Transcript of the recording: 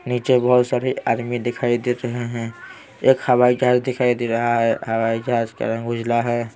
नीचे बहुत सारे आदमी दिखाई दे रहे हैं एक हवाई जहाज दिखाई दे रहा है हवाई जहाज का रंग उजला है।